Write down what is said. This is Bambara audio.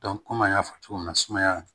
kɔmi an y'a fɔ cogo min na sumaya